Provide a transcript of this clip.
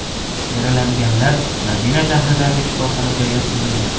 Yaralanganlar Madina shahridagi shifoxonaga yotqizilgan.